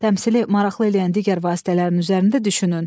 Təmsili maraqlı eləyən digər vasitələrin üzərində düşünün.